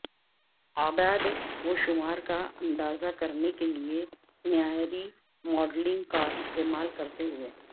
اعداد و شمار کا اندازہ کرنے کے لئے معیاری ماڈلنگ کا استعمال کرتے ہوئے